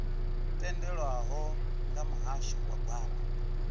tendelwaho nga muhasho wa gwama